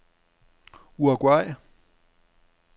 Uruguay